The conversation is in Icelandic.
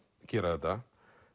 gera þetta